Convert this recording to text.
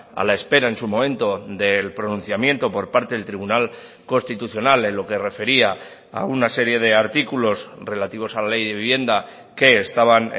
a la espera en su momento del pronunciamiento por parte del tribunal constitucional en lo que refería a una serie de artículos relativos a la ley de vivienda que estaban